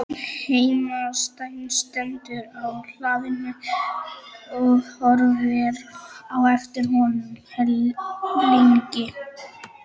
Heimasætan stendur á hlaðinu og horfir á eftir honum lengi.